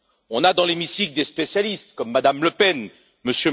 On a dans l'hémicycle des spécialistes, comme Mme Le Pen, M.